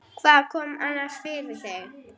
Hvað kom annars fyrir þig?